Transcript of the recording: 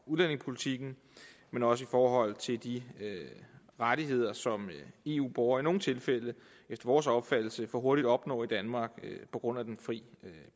udlændingepolitikken men også i forhold til de rettigheder som eu borgere i nogle tilfælde efter vores opfattelse for hurtigt opnår i danmark på grund af den fri